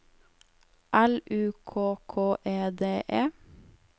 L U K K E D E